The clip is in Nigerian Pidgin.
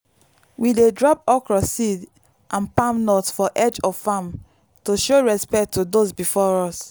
we dey drop okro seed and palm nut for edge of farm to show respect to those before us.